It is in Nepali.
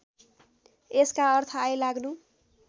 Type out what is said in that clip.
यसका अर्थ आइलाग्नु